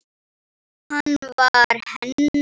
Hann var hennar.